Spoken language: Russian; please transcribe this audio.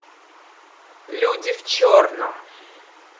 люди в черном